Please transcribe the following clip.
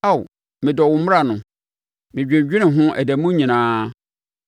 Ao medɔ wo mmara no! Medwendwene ho ɛda mu nyinaa.